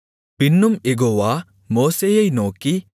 பின்னும் யெகோவா மோசேயை நோக்கி